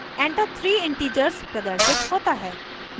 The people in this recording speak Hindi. enter three integers प्रदर्शित होता है